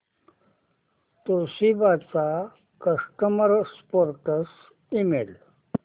Toshiba चा customer support email